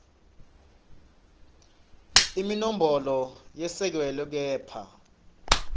imibono yesekelwe kepha